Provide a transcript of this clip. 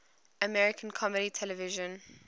american comedy television